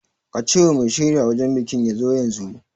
Ka ce wa mai shirya wajan bikin ya zo yanzu